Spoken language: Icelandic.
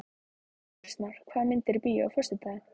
Kristmar, hvaða myndir eru í bíó á föstudaginn?